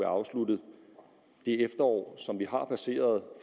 afsluttet det efterår som vi har passeret